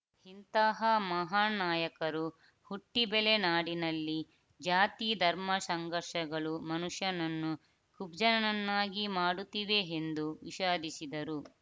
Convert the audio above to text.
ಇಂತಹ ಮಹಾನ್‌ ನಾಯಕರು ಹುಟ್ಟಿಬೆಳೆ ನಾಡಿನಲ್ಲಿ ಜಾತಿ ಧರ್ಮ ಸಂಘರ್ಷಗಳು ಮನುಷ್ಯನನ್ನು ಕುಬ್ಜನನ್ನಾಗಿ ಮಾಡುತ್ತಿವೆ ಎಂದು ವಿಷಾದಿಸಿದರು